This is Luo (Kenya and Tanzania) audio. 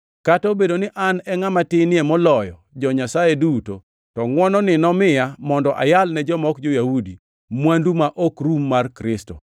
Kata obedo ni an e ngʼama tinie moloyo jo-Nyasaye duto to ngʼwononi nomiya mondo ayal ne joma ok jo-Yahudi mwandu ma ok rum mar Kristo;